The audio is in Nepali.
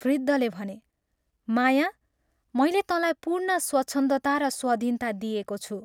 वृद्धले भने, " माया, मैले तँलाई पूर्ण स्वच्छन्दता र स्वाधीनता दिएको छु।